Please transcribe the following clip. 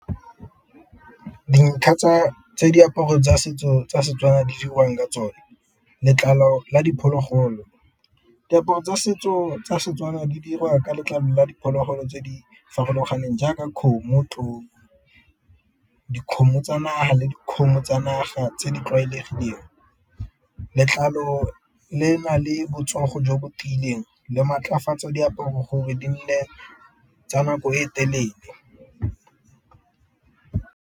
Dintlha tse diaparo tsa setso tsa Setswana di dirwang ka tsone letlalo la diphologolo, diaparo tsa setso tsa Setswana di dirwa ka letlalo la diphologolo tse di farologaneng jaaka kgomo, tlou, dikgomo tsa naha le dikgomo tsa naga tse di tlwaelegileng. Letlalo le na le botsogo jo bo tiileng le go maatlafatsa diaparo gore di nne tsa nako e telele.